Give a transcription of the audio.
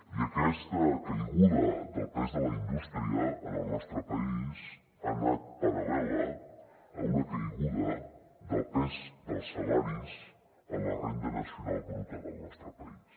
i aquesta caiguda del pes de la indústria en el nostre país ha anat paral·lela a una caiguda del pes dels salaris en la renda nacional bruta del nostre país